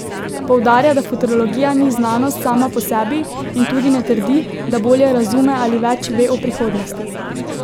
Poudarja, da futurologija ni znanost sama po sebi, in tudi ne trdi, da bolje razume ali več ve o prihodnosti.